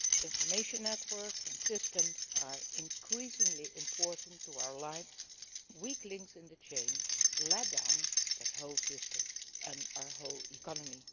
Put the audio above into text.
Information networks and systems are increasingly important to our lives, and weak links in the chain let down the whole system and our whole economy.